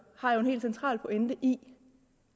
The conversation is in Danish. har jo en helt central pointe i